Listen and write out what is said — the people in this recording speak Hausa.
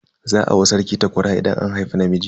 Za a wa sarki takwara idan an haifi namiji.